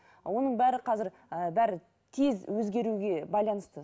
оның бәрі қазір і бәрі тез өзгеруге байланысты